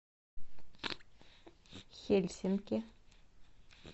хельсинки